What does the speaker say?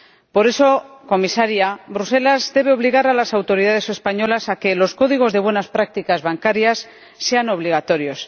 Por eso, señora Comisaria, Bruselas debe obligar a las autoridades españolas a que los códigos de buenas prácticas bancarias sean obligatorios.